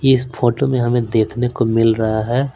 इस फोटो में हमें देखने को मिल रहा है।